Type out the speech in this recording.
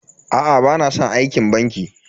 Aa bana san aikin banki.